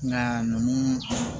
Nka nunnu